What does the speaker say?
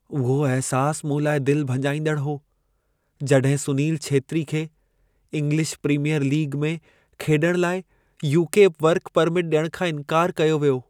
उहो अहिसासु मूं लाइ दिलि भॼाईंदड़ु हो जॾहिं सुनील छेत्री खे इंगलिश प्रीमीयर लीग में खेॾणु लाइ यूके वर्क परमिट ॾियणु खां इन्कारु कयो वियो।